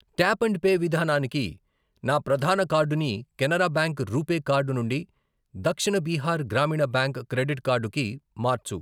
Tap and pay విధానానికి నా ప్రధాన కార్డుని కెనరా బ్యాంక్ రూపే కార్డు నుండి Dakshin Bihar Gramin bank credit card కి మార్చు.